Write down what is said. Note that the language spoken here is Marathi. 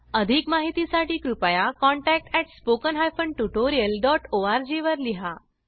अधिक माहितीसाठी कृपया contact at spoken hyphen tutorial dot O R G वर लिहा